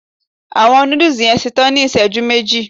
Awọn nudus yoo ṣetan ni iṣẹju meji